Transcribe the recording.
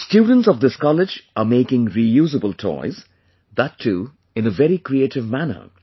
Students of this college are making Reusable Toys, that too in a very creative manner